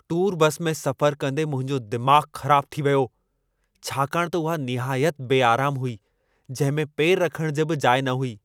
Tour bus में सफ़रु कंदे मुंहिंजो दिमाग़ु ख़राबु थी वियो छाकाणि त उहा निहायत बेआरामु हुई जंहिं में पेरु रखणु जी जाइ बि न हुई।